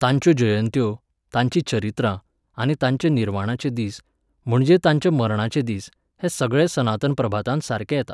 तांच्यो जयंत्यो, तांचीं चरित्रां आनी तांचे निर्वाणाचे दीस, म्हणजे तांच्या मरणाचे दीस, हें सगळें सनातन प्रभातांत सारकें येता.